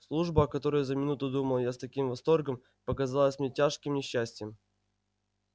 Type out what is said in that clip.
служба о которой за минуту думал я с таким восторгом показалась мне тяжким несчастьем